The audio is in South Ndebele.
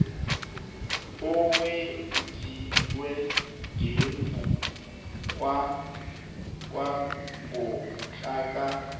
owenziwe ngemva kwangomhlaka